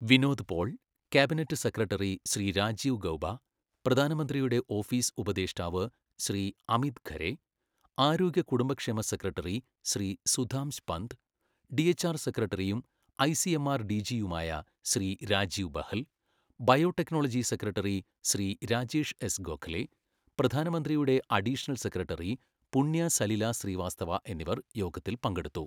Vinod Paul, cabinet secretary Shri Rajiv Gauba, പ്രധാനമന്ത്രിയുടെ office ഉപദേഷ്ടാവ് ശ്രീ അമിത് ഖരെ, ആരോഗ്യ കുടുംബക്ഷേമ സെക്രട്ടറി ശ്രീ സുധാംശ് പന്ത്, ഡിഎച്ച്ആർ സെക്രട്ടറിയും ഐസിഎംആർ ഡിജിയുമായ Shri Rajiv Bahl, biotechnology secretary Shri Rajesh S Gokhale, പ്രധാനമന്ത്രിയുടെ അഡീഷണൽ സെക്രട്ടറി പുണ്യ സലില ശ്രീവാസ്തവ എന്നിവർ യോഗത്തിൽ പങ്കെടുത്തു.